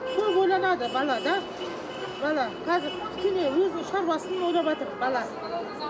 көп ойланады бала да бала қазір кішкене өзінің шаруасын ойлаватыр бала